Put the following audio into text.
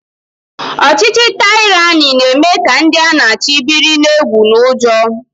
Ọchịchị taịrani na-eme ka ndị a na-achị biri n'egwu na ụjọ